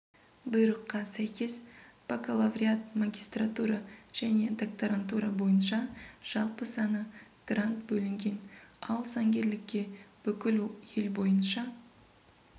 бұйрыққа сәйкес бакалавриат магистратура және докторантура бойынша жалпы саны грант бөлінген ал заңгерлікке бүкіл ел бойынша